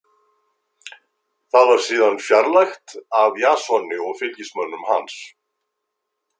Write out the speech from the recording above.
Það var síðar fjarlægt af Jasoni og fylgismönnum hans.